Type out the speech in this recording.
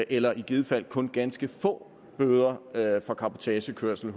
eller i givet fald kun ganske få bøder for cabotagekørsel